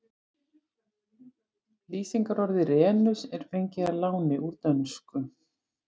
Lýsingarorðið renus er fengið að láni úr dönsku.